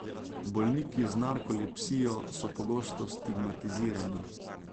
Bolniki z narkolepsijo so pogosto stigmatizirani.